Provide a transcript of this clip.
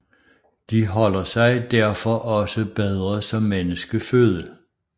De holder sig derfor også bedre som menneskeføde